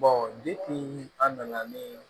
an nana ni